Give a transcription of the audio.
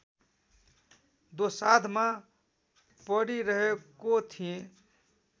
दोसाँधमा परिरहेको थिएँ